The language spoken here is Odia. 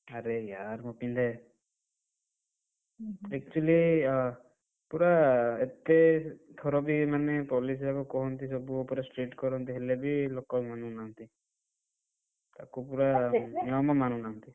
ଆରେ ମୁଁ ପିନ୍ଧେ। actually ୟା ପୁରା ଏତେ ଥର ବି ମାନେ police ବାବୁ କୁହନ୍ତି ସବୁ ଉପରେ strict କରନ୍ତି ହେଲେ ବି ଲୋକ ମାନୁନାହାନ୍ତି। ଲୋକ ପୁରା ଜମା ମାନୁନାହାନ୍ତି।